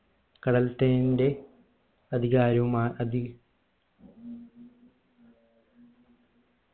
കടൽത്തീന്റെ അധികാരവുമാ അധി